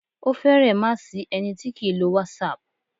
Ó fẹ̀rẹ má sí ẹni tí kìí lo whatsapp.